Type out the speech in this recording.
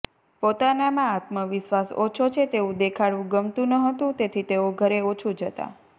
પોતાનામાં આત્મવિશ્વાસ ઓછો છે તેવું દેખાડવું ગમતું ન હતું તેથી તેઓ ઘરે ઓછું જતાં